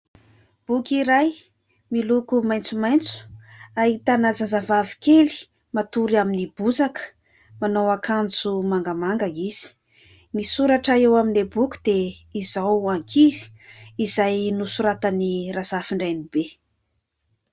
Boky iray miloko maitsomaitso , ahitana zazavavy kely matory amin'ny bozaka manao ankanjo mangamanga izy . Ny soratra eo amin'ilay boky dia izaho ankizy izay nosoratan'i RAZAFINDRAIBE .